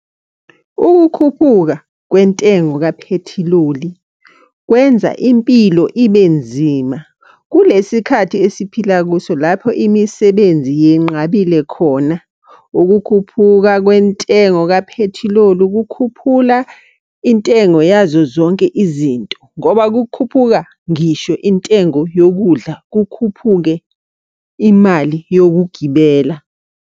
Ukukhuphuka kwentengo kaphethiloli kwenza impilo ibe nzima kulesi khathi esiphila kuso lapho imisebenzi yenqabile khona. Ukukhuphuka kwentengo kaphethiloli kukhuphula intengo yazo zonke izinto, ngoba kukhuphuka ngisho intengo yokudla kukhuphuke imali yokugibela.